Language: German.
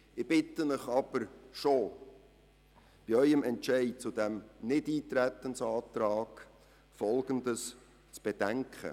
Ich bitte Sie aber, bei Ihrem Entscheid zu diesem Nichteintretensantrag Folgendes zu bedenken: